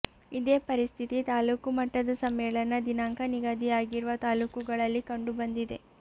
ಇದೇ ಪರಿಸ್ಥಿತಿ ತಾಲೂಕು ಮಟ್ಟದ ಸಮ್ಮೇಳನ ದಿನಾಂಕ ನಿಗದಿಯಾಗಿರುವ ತಾಲೂಕುಗಳಲ್ಲಿ ಕಂಡು ಬಂದಿದೆ